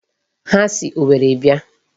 Ha si Owerri bịa.